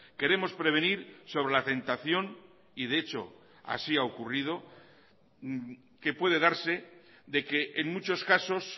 queremos prevenir sobre la tentación y de hecho así ha ocurrido que puede darse de que en muchos casos